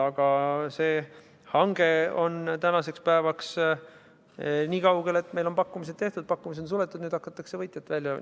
Aga see hange on tänaseks päevaks niikaugel, et meil on pakkumised tehtud, pakkumised on suletud ning nüüd hakatakse võitjat välja valima.